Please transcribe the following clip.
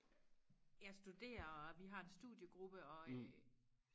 jeg studerer og vi har en studiegruppe og øh